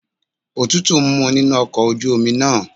Òtútù ń mu nínú ọkọ̀ ojú omi náà.